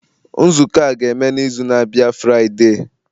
Nzukọ a ga-eme n'izu na-abịa Friday.